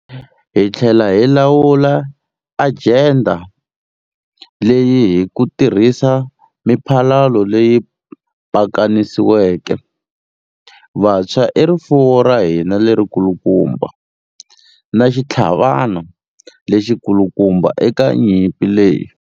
Hi tlhela hi lawula ajenda leyi hi ku tirhisa miphalalo leyi pakanisiweke. Vantshwa i rifuwo ra hina lerikulukumba, na xitlhavana lexikulukumba eka nyimpi leyi.